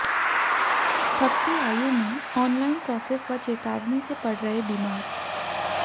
थकती आयु में online process व चेतावनी से पड़ रहे बीमार